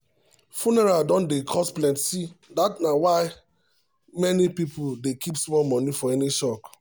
funeral don um dey cost plenty na why many um people dey keep small money for any shock.